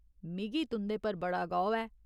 मिगी तुं'दे पर बड़ा गौह् ऐ।